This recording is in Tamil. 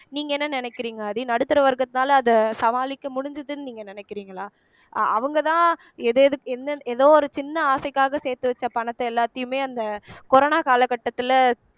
நீங்க என்ன நினைக்கிறீங்க ஆதி நடுத்தர வர்க்கத்தினால அத சமாளிக்க முடிஞ்சுதுன்னு நீங்க நினைக்கிறறீங்களா அஹ் அவங்கதான் ஏதேதுக் எந்த ஏதோ ஒரு சின்ன ஆசைக்காக சேர்த்து வச்ச பணத்தை எல்லாத்தையுமே அந்த corona காலகட்டத்துல